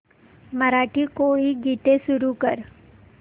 मराठी कोळी गीते सुरू कर